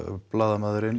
blaðamaðurinn